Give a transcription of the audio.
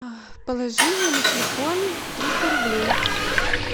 положи мне на телефон триста рублей